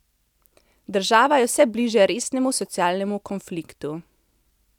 Država je vse bliže resnemu socialnemu konfliktu.